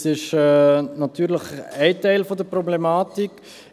Das ist natürlich ein Teil der Problematik.